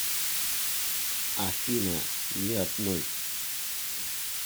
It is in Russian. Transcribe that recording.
афина ни одной